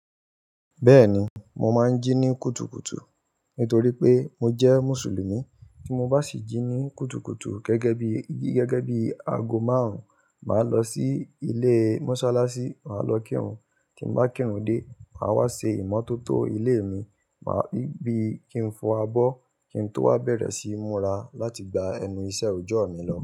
Bẹ́ẹ̀ni, mo máa ń jí ní kùtùkùtù nítorí pé mo jẹ́ Mùsùlùmí. Tí mo bá sì jí ní kùtùkùtù gẹ́gẹ́ bí gẹ́gẹ́ bí aago márùn-ún, màá lọ sí ilé Mọ́sálásí, màá lọ kírun. Tí mo bá kírun dé, màá wá ṣe ìmọ́tótó ilé mi. Màá bí i kí n fo abọ́, kí n tó wá bẹ̀rẹ̀ sí múra láti gba ẹnu iṣẹ́ òjọ́ mi lọ.